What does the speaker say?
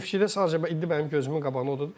Neftçidə sadəcə mənim gözümün qabağında odur.